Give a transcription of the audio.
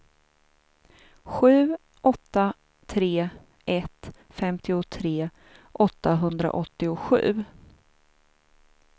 sju åtta tre ett femtiotre åttahundraåttiosju